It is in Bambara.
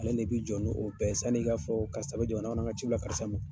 Ale de bɛ jɔn ni o bɛɛ sani k'a fɔ karis bɛ jamana kɔnɔ an ka ci bila karisa ma.